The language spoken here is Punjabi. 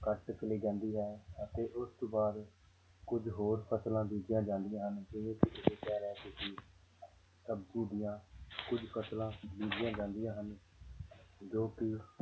ਕੱਟ ਲਈ ਜਾਂਦੀ ਹੈ ਅਤੇ ਉਸ ਤੋਂ ਬਾਅਦ ਕੁੱਝ ਹੋਰ ਫ਼ਸਲਾਂ ਬੀਜੀਆਂ ਜਾਂਦੀਆਂ ਹਨ ਜਿਵੇਂ ਕਿ ਸਬਜ਼ੀ ਦੀਆਂ ਕੁੱਝ ਫ਼ਸਲਾਂ ਬੀਜੀਆਂ ਜਾਂਦੀਆਂ ਹਨ ਜੋ ਕਿ